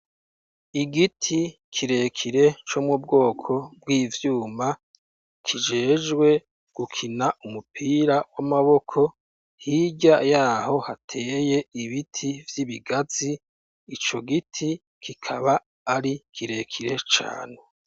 Igiti kirekire, co mubwoko bw'ivyuma, kijejwe gukina umupira w'amaboko, hirya y'aho, hateye ibiti vy'ibigazi; ico giti, kikaba ari kirekire cane.